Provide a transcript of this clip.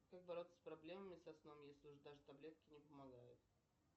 как бороться с проблемами со сном если уже даже таблетки не помогают